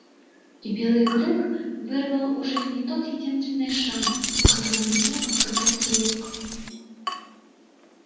и белый клык вырвал у жизни тот единственный шанс в котором ему отказал хирург